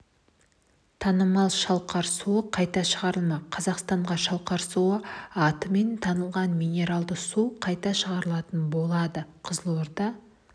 танымал шалқар суы қайта шығарылмақ қазақстанға шалқар суы атымен танылған минералды су қайта шығарылатын болады қызылорда